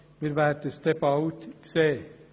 Wir werden es schon bald sehen.